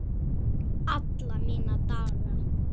Alla mína daga.